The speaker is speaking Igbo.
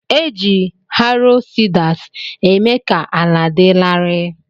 Eji "harrow" seeders eme ka ala di lari.